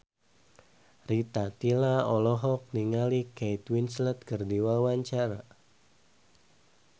Rita Tila olohok ningali Kate Winslet keur diwawancara